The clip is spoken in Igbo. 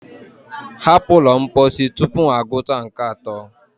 hapụ ụlọ mposi tupu m agụta nke atọ!